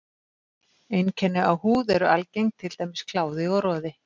Einkenni á húð eru algeng, til dæmis kláði og roði.